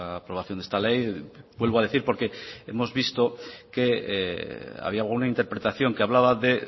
aprobación de esta ley vuelvo a decir porque hemos visto que había alguna interpretación que hablaba de